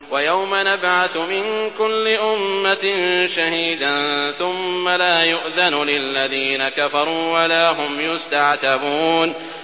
وَيَوْمَ نَبْعَثُ مِن كُلِّ أُمَّةٍ شَهِيدًا ثُمَّ لَا يُؤْذَنُ لِلَّذِينَ كَفَرُوا وَلَا هُمْ يُسْتَعْتَبُونَ